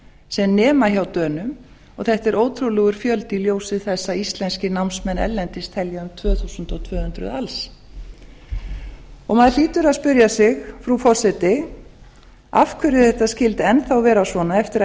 sem nema hjá dönum og þetta er ótrúlegur fjöldi í ljósi þess að íslenskir námsmenn erlendis telja um tvö þúsund tvö hundruð alls maður hlýtur að spyrja sig frú forseti af hverju þetta skuli enn þá vera svona eftir að